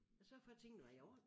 At sørge for tingene var i orden